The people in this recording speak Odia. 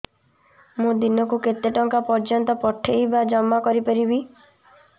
ମୁ ଦିନକୁ କେତେ ଟଙ୍କା ପର୍ଯ୍ୟନ୍ତ ପଠେଇ ବା ଜମା କରି ପାରିବି